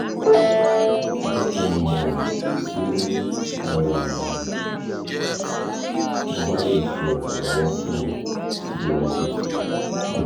jẹ ki n mọ ti mo ba le ṣe iranlọwọ um fun ọ siwaju sii